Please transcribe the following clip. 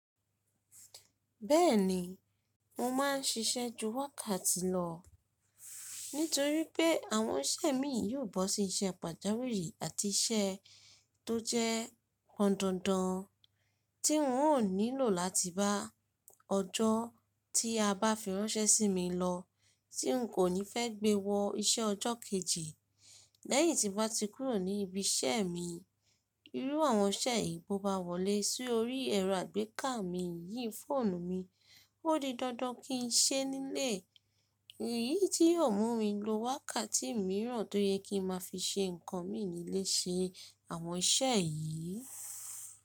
Bẹ́ẹ̀ni mo máa ń ṣiṣẹ́ ju wákàtì lọ. Nítorí pé àwọn iṣẹ́ mi yóò bọ́ sí iṣẹ́ pàjáwìrì àti iṣẹ́ tó jẹ́ pọ̀ndandan tí n ò nílò láti bá ọjọ́ tí a bá fi ránṣẹ́ sí mi lọ, tí n kò ní fẹ́ gbé wọ iṣẹ́ ọjọ́ kejì. Lẹ́yìn tí mo bá ti kúrò ní ibi iṣẹ́ mi, irú àwọn iṣẹ́ yìí bó bá wọlé si órí ẹ̀rọ àgbékà mi yìí, fóònù mi, ó di dandan kí n ṣe nílé. Èyí tí yóò mú mi lo wákàtì mìíràn tó yẹ kí n máa fi ṣe nǹkan mì nílé ṣe, àwọn iṣẹ́ yìí.